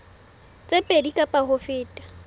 tse pedi kapa ho feta